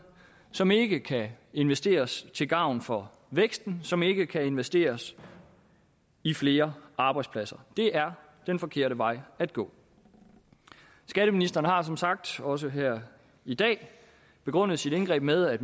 som ikke kan investeres til gavn for væksten som ikke kan investeres i flere arbejdspladser det er den forkerte vej at gå skatteministeren har som sagt også her i dag begrundet sit indgreb med at